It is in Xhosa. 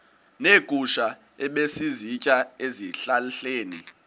neegusha ebezisitya ezihlahleni